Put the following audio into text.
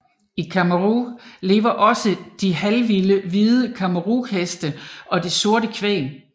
I Camargue lever også de halvvilde hvide Camargueheste og det sorte kvæg